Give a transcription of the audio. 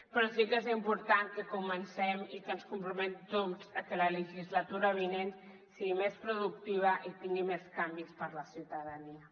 però sí que és important que comencem i que ens comprometem tots a que la legislatura vinent sigui més productiva i tingui més canvis per a la ciutadania